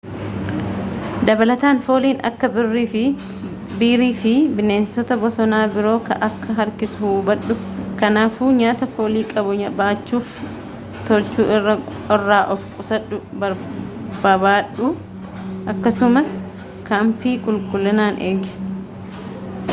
dabalataan fooliin akka biirii fi bineensota bosona biro akka harkisu hubadhu ,kanaafuu nyaata foolii qabu baachuu fi tolchuu irraa of qusadhu babadhu akkasumas kaampii qulqullinaan eegi